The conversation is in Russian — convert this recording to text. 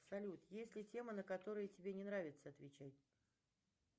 салют есть ли темы на которые тебе не нравится отвечать